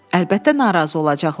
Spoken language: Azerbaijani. Əlbəttə narazı olacaqlar.